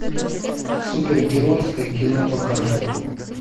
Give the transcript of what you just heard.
супергеройское кино покажи